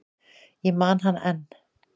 Ég man hana enn.